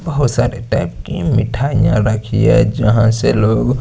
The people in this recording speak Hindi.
बहुत सारे टायप कि मिठाइया रखी है जहाँ से लोग--